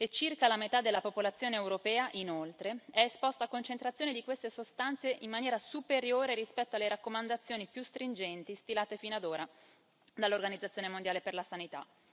Circa la metà della popolazione europea, inoltre, è esposta a concentrazioni di queste sostanze in maniera superiore rispetto alle raccomandazioni più stringenti stilate fino ad ora dall'Organizzazione mondiale per la sanità.